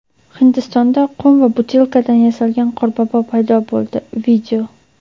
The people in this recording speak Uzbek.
Hindistonda qum va butilkadan yasalgan qorbobo paydo bo‘ldi.